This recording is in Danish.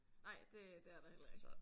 Nej det det er der heller ikke